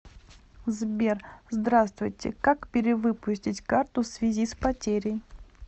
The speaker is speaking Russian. сбер здравствуйте как перевыпустить карту в связи с потерей